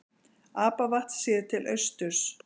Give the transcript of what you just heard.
Apavatn séð til austurs.